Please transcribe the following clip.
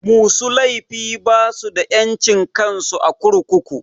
Musu laifi basu da ƴancin kansu a kurkuku.